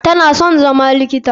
Tana son zama likita.